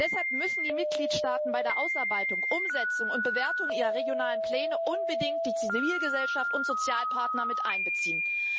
Deshalb müssen die Mitgliedstaaten bei der Ausarbeitung, Umsetzung und Bewertung ihrer regionalen Pläne unbedingt die Zivilgesellschaft und Sozialpartner mit einbeziehen.